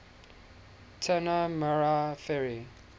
tanah merah ferry